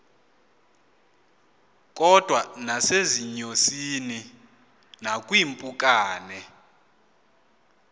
kodwa nasezinyosini nakwiimpukane